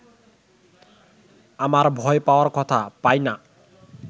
আমার ভয় পাওয়ার কথা, পাই না